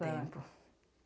Tempo.